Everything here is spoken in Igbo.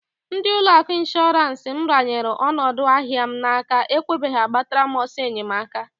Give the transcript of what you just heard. Ndi ụlọ akụ Ishorance m ranyelu onodu ahịa m n'aka ekweghi agbatara m oso enyemaka.